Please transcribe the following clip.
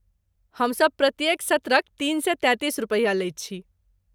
हमसब प्रत्येक सत्रक तीन सए तैंतीस रुपैया लैत छी।